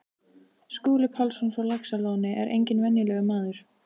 Skúli Pálsson frá Laxalóni er enginn venjulegur maður.